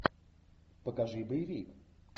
покажи боевик